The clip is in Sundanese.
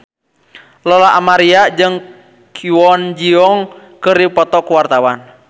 Lola Amaria jeung Kwon Ji Yong keur dipoto ku wartawan